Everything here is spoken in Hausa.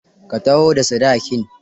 Ka taho da sadakin.